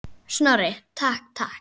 Snorri, takk, takk.